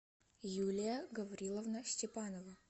юлия гавриловна степанова